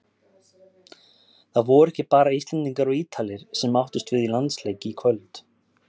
Það voru ekki bara Íslendingar og Ítalir sem áttust við í landsleik í kvöld.